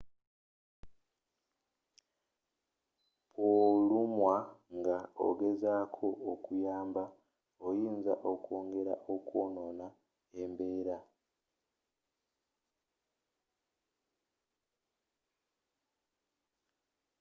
bwolumwa nga ogezaako okuyamba oyinza okwongera okwonoona embeera